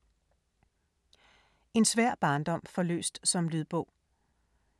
En svær barndom forløst som lydbog